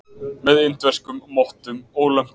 Með indverskum mottum og lömpum.